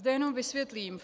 Zde jenom vysvětlím.